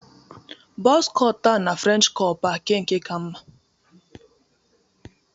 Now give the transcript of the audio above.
The buzz cut na French cop nke ka mma?